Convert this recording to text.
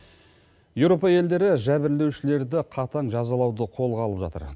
еуропа елдері жәбірлеушілерді қатаң жазалауды қолға алып жатыр